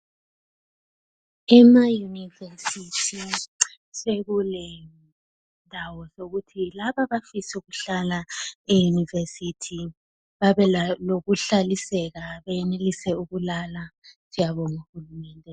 Ema university sekulendawo zokuthi labo abafisa ukuhlala e university babe lokuhlaliseka benelise ukulala siyabonga uhulumende.